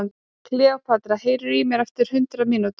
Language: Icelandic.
Kleópatra, heyrðu í mér eftir hundrað mínútur.